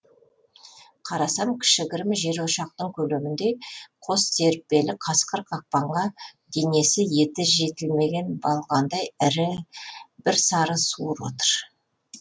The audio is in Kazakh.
қарасам кішігірім жер ошақтың көлеміндей қос серіппелі қасқыр қақпанға денесі еті жетілмеген бағландай ірі бір сары суыр отыр